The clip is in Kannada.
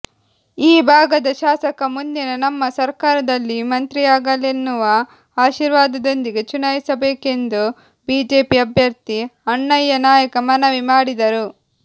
ಈ ಭಾಗದ ಶಾಸಕ ಮುಂದಿನ ನಮ್ಮ ಸರ್ಕಾರದಲ್ಲಿ ಮಂತ್ರಿಯಾಗಲೆನ್ನುವ ಆಶೀರ್ವಾದದೊಂದಿಗೆ ಚುನಾಯಿಸಬೇಕೆಂದು ಬಿಜೆಪಿ ಅಭ್ಯರ್ಥಿ ಅಣ್ಣಯ್ಯನಾಯಕ ಮನವಿ ಮಾಡಿದರು